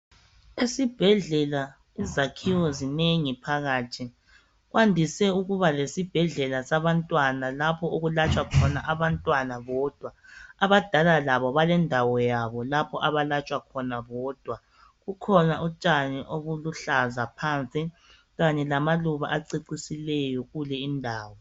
Esibhedlela izakhiwo zinengi phakathi, kwandise ukuba lesibhedlela sabantwana lapho okulatshwa khona abantwana bodwa, abadala labo balendawo yabo lapho abalatshwa khona bodwa ,kukhona utshani obuluhlaza phansi kanye lamaluba acecisileyo kule indawo.